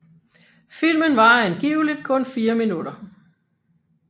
Filmen varer angiveligt kun 4 minutter